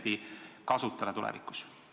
Valitsus eraldas oma reservist 750 000 eurot.